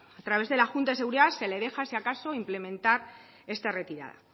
a través de la junta de seguridad se le deja si acaso implementar esta retirada